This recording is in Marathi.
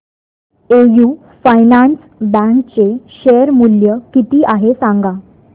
एयू फायनान्स बँक चे शेअर मूल्य किती आहे सांगा